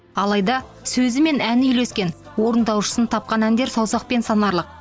алайда сөзі мен әні үйлескен орындаушысын тапқан әндер саусақпен санарлық